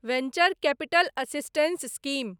venture capital assistance scheme